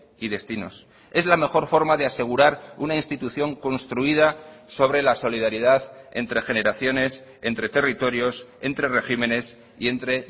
y destinos es la mejor forma de asegurar una institución construida sobre la solidaridad entre generaciones entre territorios entre regímenes y entre